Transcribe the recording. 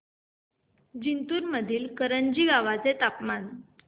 जिंतूर मधील करंजी गावाचे तापमान